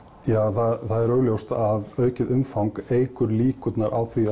ja það er augljóst að aukið umfang eykur líkurnar á því